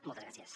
moltes gràcies